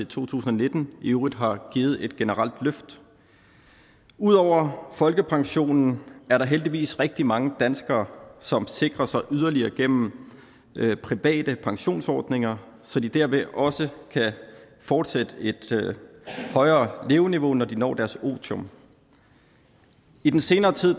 to tusind og nitten i øvrigt har givet et generelt løft ud over folkepension er der heldigvis rigtig mange danskere som sikrer sig yderligere gennem private pensionsordninger så de dermed også kan fortsætte et højere leveniveau når de når deres otium i den senere tid